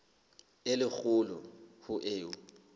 e le kgolo ho eo